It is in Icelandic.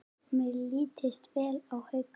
Mér leist vel á Hauka.